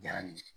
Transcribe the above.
Diyara n ye